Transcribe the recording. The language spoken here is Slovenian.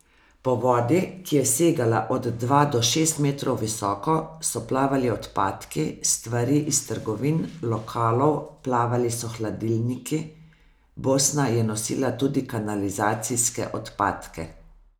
Po vodi, ki je segala od dva do šest metrov visoko, so plavali odpadki, stvari iz trgovin, lokalov, plavali so hladilniki, Bosna je nosila tudi kanalizacijske odpadke ...